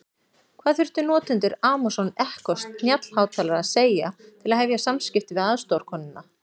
Hvað þurfa notendur Amazon Echo snjallhátalara að segja til að hefja samskipti við aðstoðarkonuna?